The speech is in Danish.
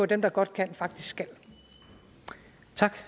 dem der godt kan faktisk